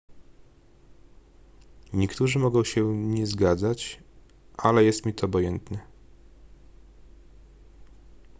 niektórzy mogą się nie zgadzać ale jest mi to obojętne